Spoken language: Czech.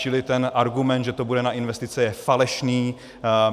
Čili ten argument, že to bude na investice, je falešný.